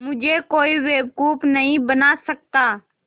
मुझे कोई बेवकूफ़ नहीं बना सकता